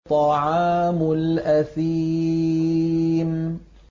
طَعَامُ الْأَثِيمِ